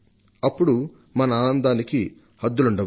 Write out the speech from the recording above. అప్పుడు మన ఆనందానికి హద్దులంటూ ఉండవు